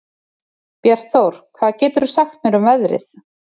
Bjartþór, hvað geturðu sagt mér um veðrið?